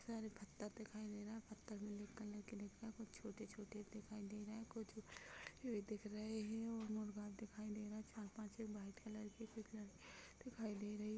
इतने सारे पत्थर दिखाई दे रहे है पत्थर ब्लैक कलर के दिखाई दे रहे है कुछ छोटे-छोटे दिखाई दे रहे कुछ बड़े-बड़े दिखाई दे रहे है और मुर्गा दिखाई दे रहा है चार पाँच व्हाइट कलर की कुछ दिखाई दे रही है ।